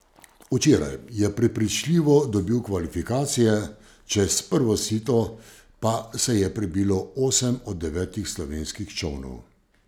Včeraj je prepričljivo dobil kvalifikacije, čez prvo sito pa se je prebilo osem od devetih slovenskih čolnov.